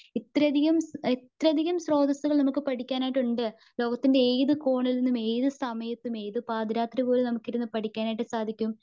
ഇത്രയധികം ഇത്രയധികം സ്രോതസ്സകൾ നമുക്ക് പഠിക്കാനായിട്ടുണ്ട്. ലോകത്തിന്റെ ഏത് കോണിൽ നിന്നുംഏത് സമയത്തും. ഏത് പാതിരാത്രി പോലും നമുക്കിരുന്ന് പഠിക്കാനായിട്ട് സാദിക്കും.